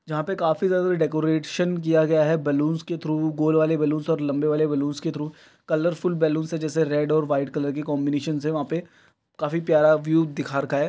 जहाँ पे काफी ज्यादा डेकोरेशन किया गया है बैलून्स के थ्रू गोल वाले बैलून्स और लम्बे वाले बैलून्स के थ्रू कलरफुल बैलून्स है जैसे रेड और व्हाइट कलर के कॉम्बिनेशंस है वहाँ पे काफी प्यारा व्यू दिखा रखा है।